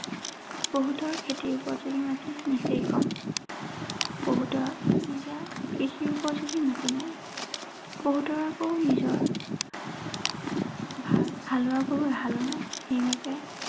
বহুতৰ খেতিৰ উপযোগী মাটি নিচেই কম। বহুতৰ নিজা কৃষি উপযোগী মাটি নাই। বহুত আকৌ নিজৰ ভাল হালোৱা গৰু এহালো নাই। সেই বাবে